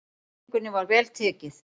Sýningunni var vel tekið.